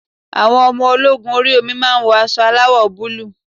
Àwọn ọmọ ológun orí omi máa wọ aṣọ aláwọ̀ búlúù.